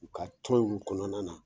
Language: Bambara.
U ka tɔn in kɔnɔna na